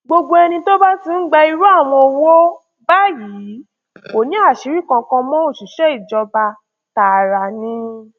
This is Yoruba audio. gbogbo ẹni tó bá ti ń gba irú àwọn owó báyìí kò ní àṣírí kankan mọ òṣìṣẹ ìjọba tààrà ni